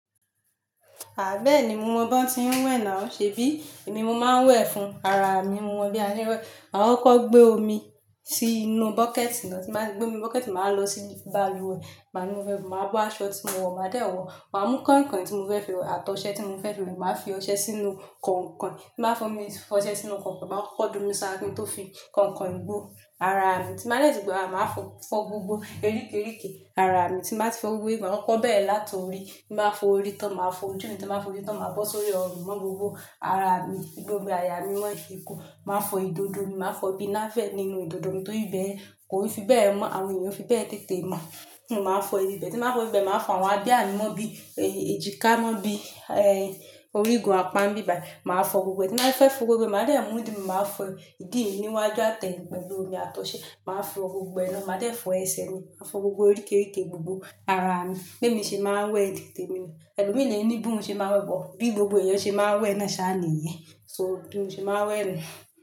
Bẹ́ẹ̀ni mo mọ bí wọ́n ti ń wẹ̀ náà ṣe bí. Èmi mo máa ń wẹ̀ fún ara mi. Mo mọ bí a ṣe ń wẹ́. Máa kọ́ ko gbé omi sí inú bucket lọ. Tí n báa ti gbé omi bucket máa wa lọ sí balùwẹ̀. Màá lo ibẹ̀, màá bó aṣọ tí mo wọ̀, màá dé wọ́. Màá mú kọ̀inkọ̀in tí mo fẹ́ fi wẹ àtọ̀ṣẹ tí mo fẹ́ fi wẹ. Màá fi ọṣẹ sínú kọ̀inkọ̀in. Tí n báa fọ́ ọmọ mi, fọṣẹ sínú kọ̀inkọ̀in. Màá kọ́kọ́ domi sára kí n tó fi kọ̀inkọ̀in gbó ara mi. Tí n báa dẹ́ẹ̀ ti gbó ara, màá fọ́ gbogbo oríke oríke ara mi. Tí n báa ti fọ gbogbo, màá kọ́ko bẹ̀rẹ́ láti orí. Tí n báa fo orí tán, màá fo ojú mi tán, ti n bàá fo oju tán, màá bọ́ sórí ọrùn mọ́ gbogbo ara mi. Gbogbo àyà mí mọ́ ìkun Màá fo ìdodo mi, màá fọ́ ibí navel nínú ìdodo mi. Torí ibẹ́yẹ̀n kòi fi bẹ́ẹ̀ mọ́. Àwọn ènìyàn e fi bẹ́ẹ̀ tètè mọ̀. In máa fọ ìbẹ́. Tí n báa fọ ìbẹ́, màá fọ àwọn abiyà mi mọ́ bí, èjìká mọ́ bí, eh, orígun, apá nbì bayi Màá fọ gbogbo e. Tí n báa fẹ́ fọ gbogbo e, màá dẹ́ ẹ́ mú du Màá fọ ìdí mi níwájú àtẹ́yin pẹ̀lú omi àtọ̀ṣẹ. Màá fọ gbogbo ẹ ná. Màá dẹ́ fọ ẹsẹ̀ mi. Màá fọ gbogbo oríke oríke gbogbo ara mi. Bi émi ṣe máa ń wẹ̀ ni tèmi. Ẹlùmii lẹ̀ ní bí owuń ṣe máa ń wẹ̀ but Bí gbogbo eẹ̀yàn ṣe máa ń wẹ̀ náà ṣa nìyẹn. So bi mo ṣe máa ń wẹ̀ ni.